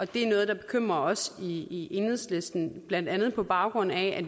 det er noget der bekymrer os i enhedslisten blandt andet på baggrund af at